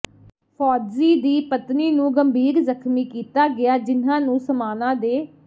ਫੌਜ਼ੀ ਦੀ ਪਤਨੀ ਨੂੰ ਗੰਭੀਰ ਜ਼ਖਮੀ ਕੀਤਾ ਗਿਆ ਜਿਨ੍ਹਾਂ ਨੂੰ ਸਮਾਣਾ ਦੇ